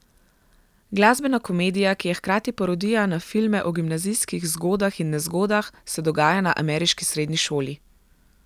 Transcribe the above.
Glasbena komedija, ki je hkrati parodija na filme o gimnazijskih zgodah in nezgodah, se dogaja na ameriški srednji šoli.